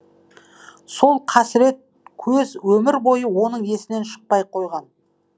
сол қасірет көз өмір бойы оның есінен шықпай қойған